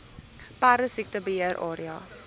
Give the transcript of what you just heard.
perdesiekte beheer area